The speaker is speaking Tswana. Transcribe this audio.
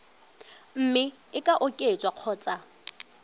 mme e ka oketswa kgotsa